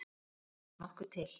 Það þarf nokkuð til!